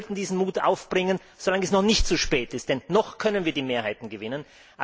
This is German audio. Und Sie sollten diesen Mut aufbringen, so lange es noch nicht zu spät ist, denn noch können wir die Mehrheiten gewinnen.